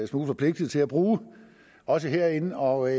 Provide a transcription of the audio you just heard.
smule forpligtet til at bruge også herinde og